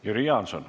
Jüri Jaanson.